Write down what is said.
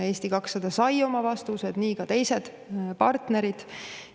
Eesti 200 sai oma vastused, nii ka teised partnerid.